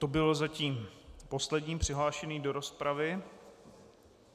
To byl zatím poslední přihlášený do rozpravy.